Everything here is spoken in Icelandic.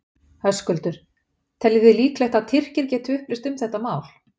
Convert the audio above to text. Höskuldur: Teljið þið líklegt að Tyrkir geti upplýst um þetta mál?